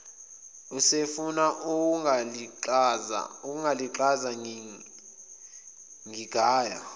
usefuna ukungilaxaza ngingaya